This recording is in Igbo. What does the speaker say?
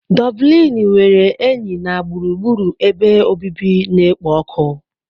Doblini nwere enyi na gburugburu ebe obibi na-ekpo ọkụ.